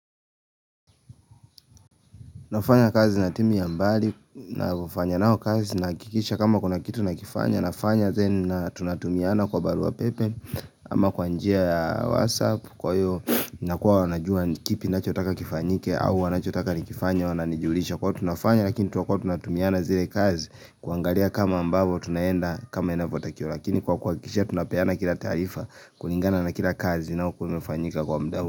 Nafanya kazi na timu ya mbali, nafanya nao kazi nahakikisha kama kuna kitu nakifanya, nafanya then na tunatumiana kwa barua pepe ama kwa njia ya WhatsApp, kwa hivyo inakuwa wanajua kipi nachotaka kifanyike au wanachotaka nikifanye wananijulisha kwa hivyo tunafanya lakini tuwakuwa tunatumiana zile kazi kuangalia kama ambavo tunaenda kama inavyo takikana lakini kwa kuakikisha tunapeana kila taarifa kulingana na kila kazi nao kumefanyika kwa muda huu.